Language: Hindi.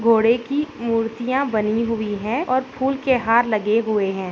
घोड़े की मूर्तियां बनी हुई हैं और फूल के हार लगे हुए हैं।